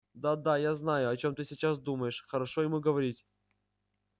да-да я знаю о чём ты сейчас думаешь хорошо ему говорить